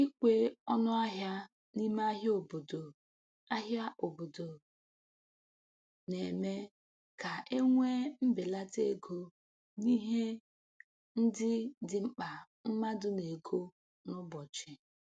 Ikwe ọnụ ahịa n'ime ahịa obodo ahịa obodo na-eme ka e nwee mbelata ego n'ihe ndị dị mkpa mmadụ na-ego n'ụbọchị